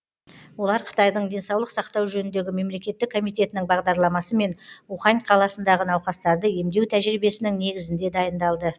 олар қытайдың денсаулық сақтау жөніндегі мемлекеттік комитетінің бағдарламасы мен ухань қаласындағы науқастарды емдеу тәжірибесінің негізінде дайындалды